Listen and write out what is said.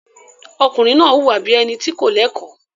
Ọkùnrin náà wùwà bí i ẹni tí kò lẹ́kọ̀ọ́.